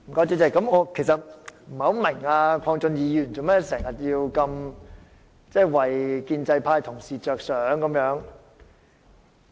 主席，我不明白鄺俊宇議員為何總是替建制派同事着想。